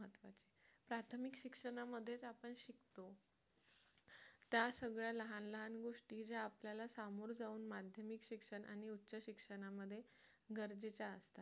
प्राथमिक शिक्षणामध्येच आपण शिकतो त्या सगळ्या लहान लहान गोष्टी ज्या आपण सामोर जाऊन माध्यमिक शिक्षण आणि उच्च शिक्षणामध्ये गरजेच्या असतात